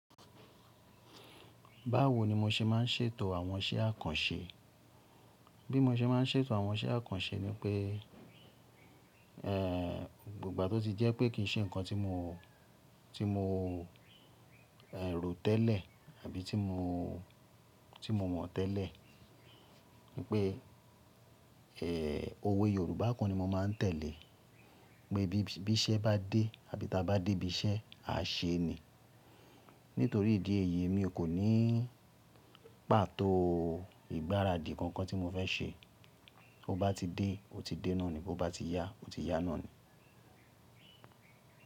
Báwo ni mo ṣe máa ń ṣètò àwọn iṣẹ́ àkànṣe? Bí mo ṣe máa ń ṣètò àwọn iṣẹ́ àkànṣe ni pé, eh, ígba tó ti jẹ́ pé kíì ṣe nǹkan tí mo, tí mo, ẹ́ rò tẹ́lẹ̀ àbí tí mo, tí mo mọ̀ tẹ́lẹ̀. Ni pé, eh, òwe Yorùbá kan ni mo máa ń tẹ̀lé. Pé bí iṣẹ́ bá dé àbí ta bá dé ibi iṣẹ́, a ṣe ni. Nítorí ìdí èyí mi kò ní pàtó ìgbáradì kankan tí mo fẹ́ ṣe. Ó bá ti dé, ó ti dé náà ni. Bo bá ti yá, ó ti yá náà ni.